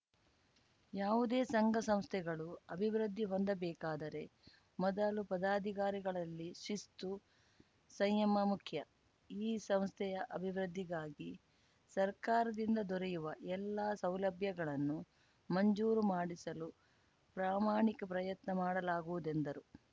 ಯಾವುದೇ ಸಂಘ ಸಂಸ್ಥೆಗಳು ಅಭಿವೃದ್ಧಿ ಹೊಂದಬೇಕಾದರೆ ಮೊದಲು ಪದಾಧಿಕಾರಿಗಳಲ್ಲಿ ಶಿಸ್ತು ಸಂಯಮ ಮುಖ್ಯ ಈ ಸಂಸ್ಥೆಯ ಅಭಿವೃದ್ಧಿಗಾಗಿ ಸರ್ಕಾರದಿಂದ ದೊರೆಯುವ ಎಲ್ಲ ಸೌಲಭ್ಯಗಳನ್ನು ಮಂಜೂರುಮಾಡಿಸಲು ಪ್ರಮಾಣಿಕ ಪ್ರಯತ್ನ ಮಾಡಲಾಗುವುದೆಂದರು